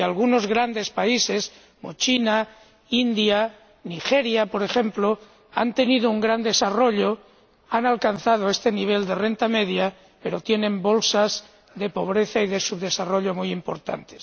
Porque algunos grandes países, como China, India y Nigeria, por ejemplo, han tenido un gran desarrollo y han alcanzado este nivel de renta media, pero tienen bolsas de pobreza y de subdesarrollo muy importantes.